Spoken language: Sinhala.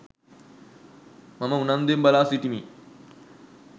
මම උනන්දුවෙන් බලා සිටිමි.